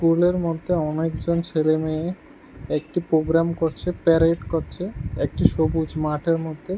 স্কুলের মধ্যে অনেকজন ছেলে মেয়ে একটি প্রোগ্রাম করছে প্যারেড করছে একটি সবুজ মাঠের মধ্যে।